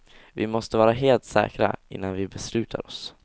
Vi måste vara helt säkra, innan vi beslutar oss.